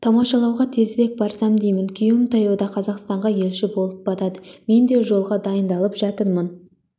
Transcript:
тамашалауға тезірек барсам деймін күйеуім таяуда қазақстанға елші болып барады мен де жолға дайындалып жатырмын